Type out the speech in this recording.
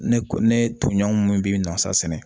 Ne ko ne toɲɔgɔn minnu bɛ nasa sɛnɛ